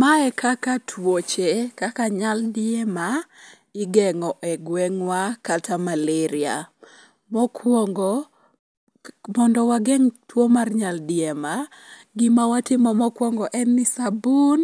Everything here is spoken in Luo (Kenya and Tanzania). Mae kaka tuoche kaka nyaldiema igeng'o e gweng'wa kata malaria. Mokwongo, mondo wageng' tuwo mar nyaldiema, gima watimo mokwongo en ni sabun,